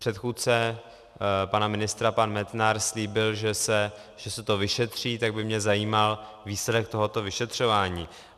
Předchůdce pana ministra pan Metnar slíbil, že se to vyšetří, tak by mě zajímal výsledek tohoto vyšetřování.